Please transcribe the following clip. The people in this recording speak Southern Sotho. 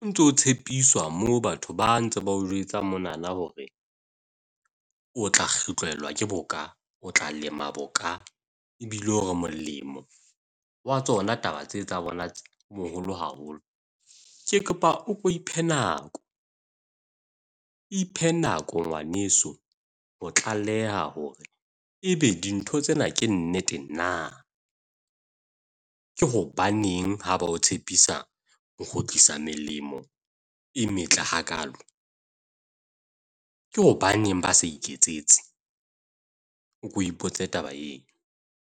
O ntso tshepiswa moo batho ba ntse ba o jwetsa monana hore o tla ke boka, o tla lema boka. Ebile o molemo wa tsona taba tse tsa bona o moholo haholo. Ke kopa o ko iphe nako, iphe nako ngwaneso ho tlaleha hore ebe dintho tsena ke nnete na. Ke hobaneng ha ba o tshepisa ho kgutlisa melemo e metle hakaalo. Ke hobaneng ba sa iketsetse? O ko ipotse taba eo.